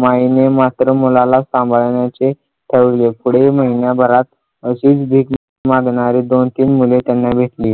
माईने मात्र मुलाला सांभाळण्याचे ठरवले पुढे महिन्याभरात अशीच भीक मागणारी दोन-तीन मुले त्यांना भेटली.